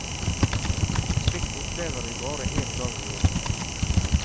Slikt opplever vi bare en gang i året.